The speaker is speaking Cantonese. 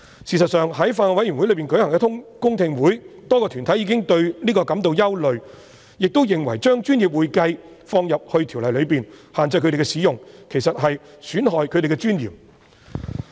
事實上，在法案委員會舉行的公聽會上，多個團體已表達對此感到憂慮，亦認為將"專業會計"這稱謂納入《條例》內，並限制他們使用，其實在損害他們的尊嚴。